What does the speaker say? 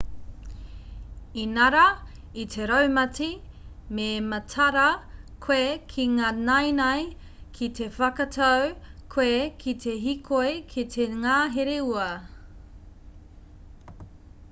inarā i te raumati me mataara koe ki ngā naenae ki te whakatau koe ki te hīkoi ki te ngahere ua